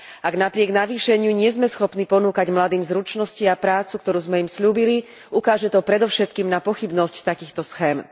Ak napriek navýšeniu nie sme schopní ponúkať mladým zručnosti a prácu, ktorú sme im sľúbili, ukáže to predovšetkým na pochybnosť takýchto schém.